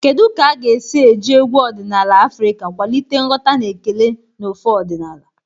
Kedu ka esi eji egwu ọdịnala Afrika kwalite nghọta na ekele n'ofe ọdịnala?